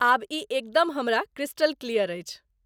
आब ई एकदम हमरा क्रिस्टल क्लियर अछि।